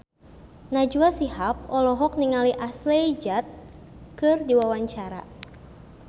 Najwa Shihab olohok ningali Ashley Judd keur diwawancara